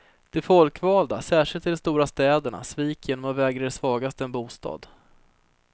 De folkvalda, särskilt i de stora städerna, sviker genom att vägra de svagaste en bostad.